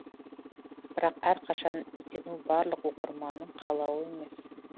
бірақ әрқашан іздену барлық оқырманның қалауы емес